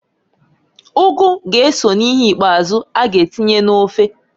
Ugu g'eso n'ihe ikpazụ a g'atinye n'ofe.